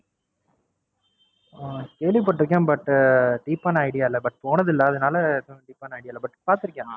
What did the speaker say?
அஹ் கேள்விப்பட்டிருக்கேன் ButDeep ஆன Idea இல்ல But போனது இல்ல அதனால எதுவும் Deep ஆனா Idea இல்ல But பாத்துருக்கேன்.